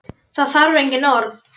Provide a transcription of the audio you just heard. Það þarf engin orð.